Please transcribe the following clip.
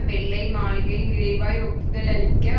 வெள்ளை மாளிகை விரைவாய் ஒப்புதலளிக்க